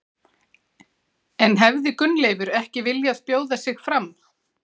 En hefði Gunnleifur ekki viljað bjóða sig fram?